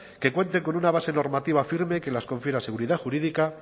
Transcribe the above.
que cuenten con una base normativa firme que les confiera seguridad jurídica